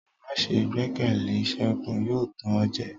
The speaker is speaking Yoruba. Ma see gbẹkẹle Segun; yóò tàn o jẹ.